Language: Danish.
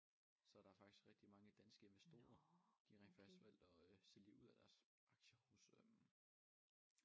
Så der er faktisk rigtig mange danske investorer de har rent faktisk valgt at øh sælge ud af deres aktier hos øh